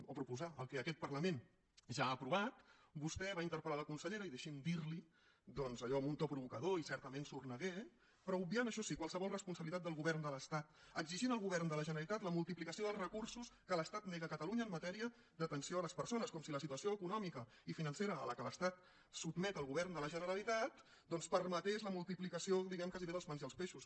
o proposar el que aquest parlament ja ha aprovat vostè va interpel·consellera i deixi’m dir li ho doncs allò amb un to provocador i certament sorneguer però obviant això sí qualsevol responsabilitat del govern de l’estat exigint al govern de la generalitat la multiplicació dels recursos que l’estat nega a catalunya en matèria d’atenció a les persones com si la situació econòmica i financera a què l’estat sotmet el govern de la generalitat doncs permetés la multiplicació diguem ne gairebé dels pans i els peixos que